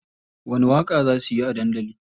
Wani waƙa za suyi a dandali?